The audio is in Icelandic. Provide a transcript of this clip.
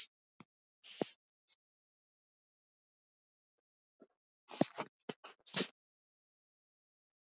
Jólasveinarnir sátu við háborðið en aðstorðafólkið og annað starfsfólk á borðunum í kring.